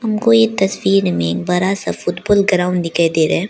हमको ये तस्वीर में बड़ा सा फुटबॉल ग्राउंड दिखाई दे रहा है।